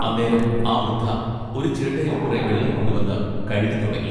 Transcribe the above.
അന്നേരം ആ വൃദ്ധ ഒരു ചിരട്ടയിൽ കുറെ വെള്ളം കൊണ്ടു വന്ന് കഴുകിത്തുടങ്ങി.